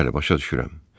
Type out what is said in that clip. Bəli, başa düşürəm.